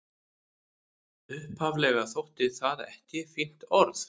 Upphaflega þótti það ekki fínt orð.